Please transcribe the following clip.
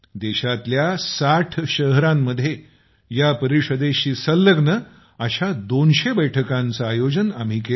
देशातील ६० शहरांमध्ये या परिषदेशी संलग्न अशा २०० बैठकांचं आयोजन आम्ही केलं